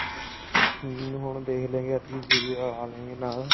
ਹਮ ਹੁਣ ਦੇਖ ਲਾਂਗੇ ਸੀਰੀ ਲਾਲੇਂਗੇ ਨਾਲ